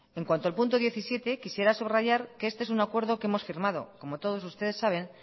en cuanto al punto diecisiete quisiera subrayar que este es un acuerdo que hemos firmado como ustedes todos saben